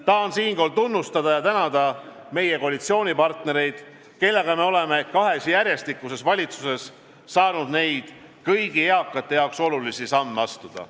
Tahan siinkohal tunnustada ja tänada meie koalitsioonipartnereid, kellega me oleme kahes järjestikuses valitsuses saanud neid kõigi eakate jaoks olulisi samme astuda.